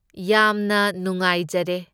ꯌꯥꯝꯅ ꯅꯨꯡꯉꯥꯏꯖꯔꯦ꯫